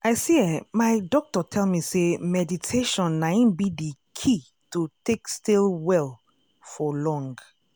i say eeh my doctor tell me say meditation na in be the key to take stay well for long.